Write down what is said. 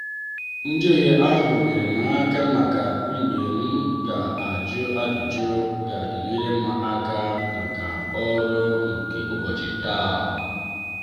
njehie ahụ nyeere m aka ịmata mgbe m ga-ajụ ajụjụ ga-enyere m aka n'oru nke ụbọchị taa.